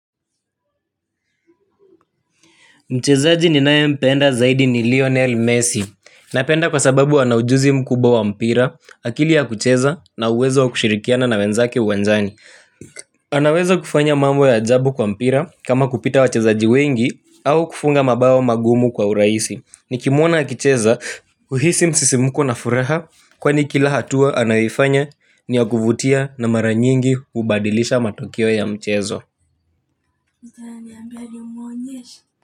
Mchezaji ninae mpenda zaidi ni Lionel Messi. Na penda kwa sababu anajuzi mkubwa wa mpira, akili ya kucheza na uwezo kushirikiana na wenzake uwanjani. Anauwezo kufanya mambo ya ajabu kwa mpira kama kupita wa chezaji wengi au kufunga mabawo magumu kwa uraisi. Ni kimwona akicheza, uhisi msisimko na furaha kwani kila hatua anayifanya ni wakuvutia na maranyingi hubadilisha matokeo ya mchezo.